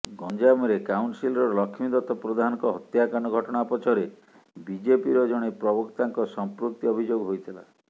ଗଞ୍ଜାମରେ କାଉନ୍ସିଲର ଲକ୍ଷ୍ମୀଦତ୍ତ ପ୍ରଧାନଙ୍କ ହତ୍ୟାକାଣ୍ଡ ଘଟଣା ପଛରେ ବିଜେପିର ଜଣେ ପ୍ରବକ୍ତାଙ୍କ ସଂପୃକ୍ତି ଅଭିଯୋଗ ହୋଇଥିଲା